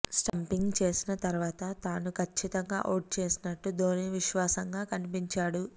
stumping చేసిన తర్వాత తను కచ్చితంగా ఔట్ చేసినట్టు ధోనీ విశ్వాసంగా కనిపించాడు